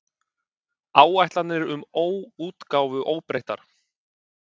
Áætlanir um útgáfu óbreyttar